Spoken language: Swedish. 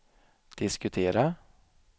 diskutera